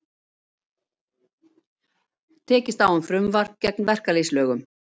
Tekist á um frumvarp gegn verkalýðsfélögum